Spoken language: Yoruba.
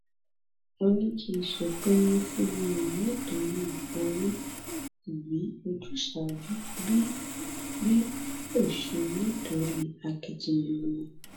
ó ní kì í ṣe pé wọn fún wọn nítorí owó tàbí ojúsàájú bí bí kò ṣe nítorí akitiyan wọn